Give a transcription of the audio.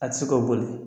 A tɛ se k'o boli